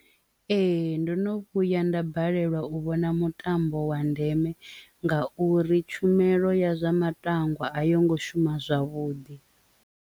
Ee, ndono vhuya nda balelwa u vhona mutambo wa ndeme nga uri tshumelo ya zwa matangwa a yo ngo shuma zwavhuḓi.